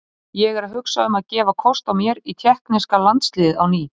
Ég er að hugsa um að gefa kost á mér í tékkneska landsliðið á ný.